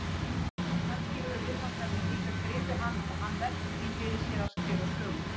Kannski hefur viðfangsefnið líka gripið hann og hann velt því fyrir sér að skrifa sögu?